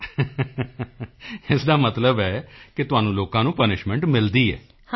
ਹੱਸ ਕੇ ਇਸ ਦਾ ਮਤਲਬ ਹੈ ਕਿ ਤੁਹਾਨੂੰ ਲੋਕਾਂ ਨੂੰ ਪਨਿਸ਼ਮੈਂਟ ਮਿਲਦੀ ਹੈ